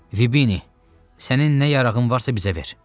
Fibini, sənin nə yarağın varsa bizə ver.